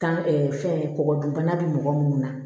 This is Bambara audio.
Tan fɛn kɔgɔ dun bana be mɔgɔ munnu na